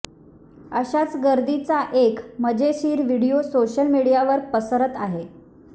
अशाच गर्दीचा एक मजेशीर व्हिडियो सोशल मीडियावर पसरत आहे